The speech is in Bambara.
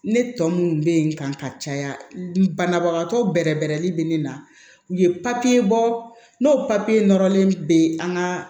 Ne tɔ munnu bɛ n kan ka caya banabagatɔ bɛrɛbɛn bɛ ne na u ye papiye bɔ n'o papiye nɔrɔlen bɛ an ka